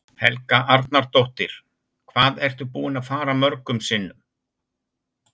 Helga Arnardóttir: Hvað ertu búinn að fara mörgum sinnum?